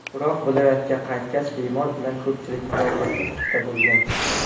Biroq viloyatga qaytgach, bemor bilan ko‘pchilikni muloqotda bo‘lgan.